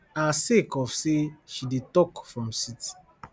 her sake of say she dey tok from seat